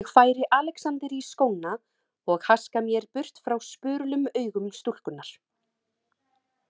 Ég færi Alexander í skóna og haska mér burt frá spurulum augum stúlkunnar.